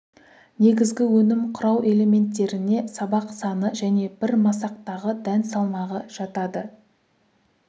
негізгі өнім құрау элементтеріне сабақ саны және бір масақтағы дән салмағы жатады